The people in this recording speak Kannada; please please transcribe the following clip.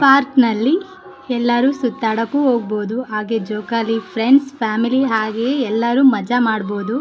ಪಾರ್ಕ್ ನಲ್ಲಿ ಎಲ್ಲರೂ ಸುತ್ತಾಡೋಕೂ ಹೋಗ್ಬಹುದು ಹಾಗೆ ಜೋಕಾಲಿ ಫ್ರೆಂಡ್ಸ್ ಫ್ಯಾಮಿಲಿ ಹಾಗೆ ಎಲ್ಲರೂ ಮಜಾ ಮಾಡಬಹುದು.